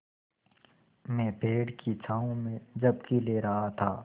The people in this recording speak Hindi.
मैं पेड़ की छाँव में झपकी ले रहा था